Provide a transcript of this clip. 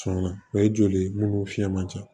Sɔn na o ye joli ye munnu fiɲɛ man ca